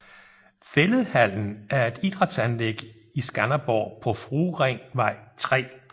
Fælledhallen er et idrætsanlæg i Skanderborg på Frueringvej 3